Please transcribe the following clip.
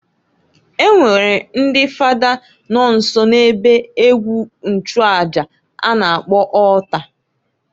E nwekwara ndị Fada nọ nso na ebe ekwu nchuaja a na-akpọ altar.